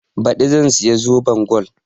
Baɗi zan siya zoben gol